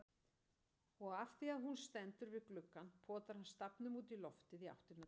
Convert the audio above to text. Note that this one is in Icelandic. Og afþvíað hún stendur við gluggann potar hann stafnum útí loftið í áttina til hennar.